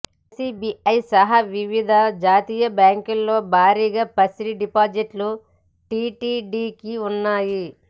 ఎస్బిఐసహా వివిధ జాతీయ బ్యాంకుల్లో భారీగా పసిడి డిపాజిట్లు టిటిడికి ఉన్నాయి